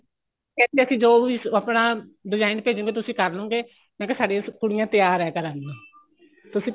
ਫ਼ੇਰ ਤੇ ਅਸੀਂ ਜੋ ਵੀ ਆਪਣਾ design ਭੇਜੋਗੇ ਤੁਸੀਂ ਕਰਲੋਗੇ ਮੈਂ ਕਿਹਾ ਸਾਡੇ ਕੁੜੀਆਂ ਤਿਆਰ ਹੈ ਕਰਨ ਨੂੰ ਤੁਸੀਂ